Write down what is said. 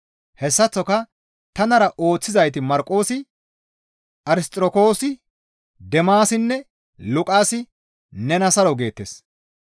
Hessaththoka tanara ooththizayti Marqoosi Arsixirokoosi, Deemaasinne Luqaasi nena saro geettes.